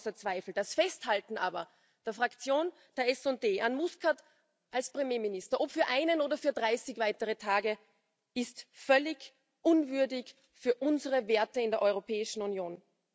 Das steht außer Zweifel. Das Festhalten aber der Fraktion der SD an Muscat als Premierminister, ob für einen oder 30 weitere Tage, ist völlig unwürdig für unsere Werte in der Europäischen Union.